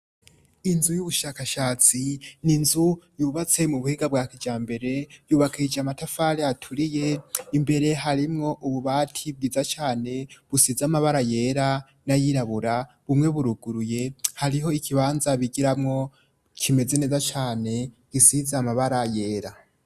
Inzu y'ubushakashatsi ni inzu yubatse mu buhinga bwa kijambere, yubakishije amatafari aturiye imbere harimwo ububati bwiza cane busize amabara yera n'ayirabura. Bumwe buruguruye, hariho ikibanza bigiramwo kimeze neza cane gisize amabara yera.